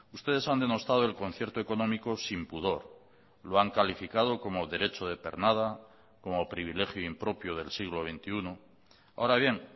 ustedes han denostado el concierto económico sin pudor lo han calificado como derecho de pernada como privilegio impropio del siglo veintiuno ahora bien